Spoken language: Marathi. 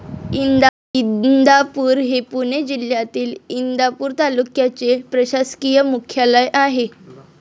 इंदापूर हे पुणे जिल्ह्यातील, इंदापूर तालुक्याचे प्रशासकीय मुख्यालय आहे.